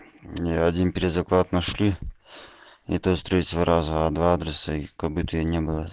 ни один перезаклад нашли и то с третьего раза а два адреса их как будто бы и не было